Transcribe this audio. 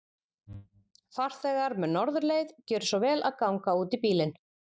Farþegar með Norðurleið, gjörið svo vel að ganga útí bílinn.